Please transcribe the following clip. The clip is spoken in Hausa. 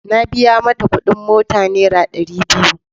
Na biya mata kudin mota naira dari biyu.